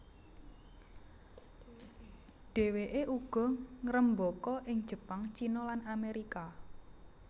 Dhèwèké uga ngrembaka ing Jepang China lan Amerika